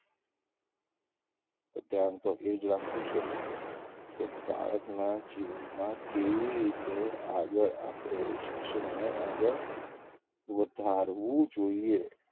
તો ધ્યાન તો એજ રાખવું છે કે બાળકનાં જીવનમાં કેવી રીતે આગળ આપડે શિક્ષણને આગળ વધારવું જોઈએ.